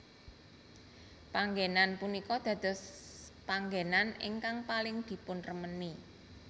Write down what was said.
Panggénan punika dadospanggenan ingkang paling dipunremeni